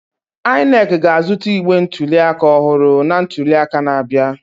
INEC ga-azụta igbe ntuliaka ọhụrụ na ntuliaka na-abịa.